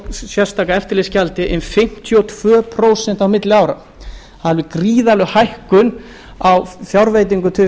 sérstaka eftirlitsgjaldi um fimmtíu og tvö prósent á milli ára það er alveg gríðarleg hækkun á fjárveitingum til